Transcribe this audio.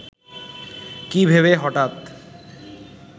কী ভেবে হঠাৎ